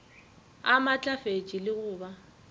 a maatlafetše le go ba